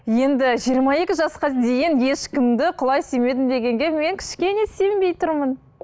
енді жиырма екі жасқа дейін ешкімді құлай сүймедім дегенге мен кішкене сенбей тұрмын